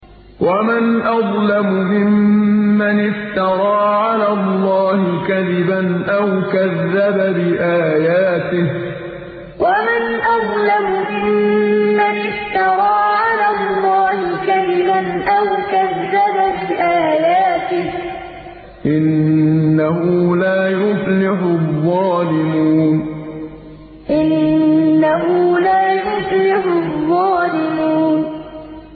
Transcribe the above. وَمَنْ أَظْلَمُ مِمَّنِ افْتَرَىٰ عَلَى اللَّهِ كَذِبًا أَوْ كَذَّبَ بِآيَاتِهِ ۗ إِنَّهُ لَا يُفْلِحُ الظَّالِمُونَ وَمَنْ أَظْلَمُ مِمَّنِ افْتَرَىٰ عَلَى اللَّهِ كَذِبًا أَوْ كَذَّبَ بِآيَاتِهِ ۗ إِنَّهُ لَا يُفْلِحُ الظَّالِمُونَ